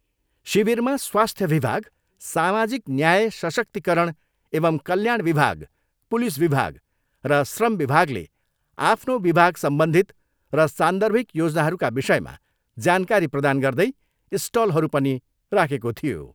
शिविरमा स्वास्थ्य विभाग, सामाजिक न्याय सशक्तिकरण एंव कल्याण विभाग, पुलिस विभाग र श्रम विभागले आफ्नो विभागसम्बन्धित र सान्दर्भिक योजनाहरूका विषयमा जानकारी प्रदान गर्दै स्टलहरू पनि राखेको थियो।